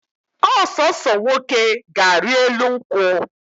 Ọsọsọ nwoke ga ari elu nkwu